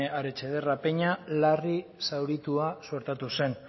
aretxederra peña larri zauritua suertatu zen